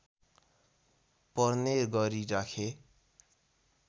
पर्ने गरी राखे